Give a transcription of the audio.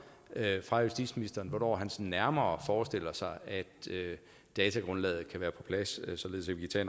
fra justitsministeren hvornår han sådan nærmere forestiller sig at datagrundlaget kan være på plads således at